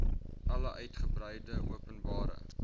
alle uitgebreide openbare